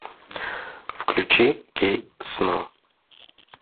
включи кей сно